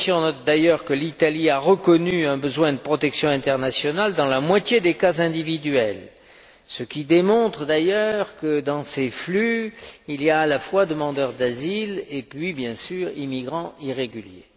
La Commission note d'ailleurs que l'Italie a reconnu un besoin de protection internationale dans la moitié des cas individuels, ce qui démontre d'ailleurs que, dans ces flux, il y a à la fois des demandeurs d'asile et puis, bien sûr, des immigrants irréguliers.